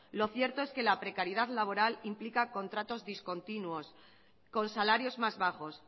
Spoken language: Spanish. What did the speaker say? lo cierto es que la precariedad laboral implica contratos discontinuos con salarios más bajos